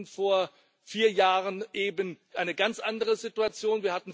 Wir hatten vor vier Jahren eben eine ganz andere Situation.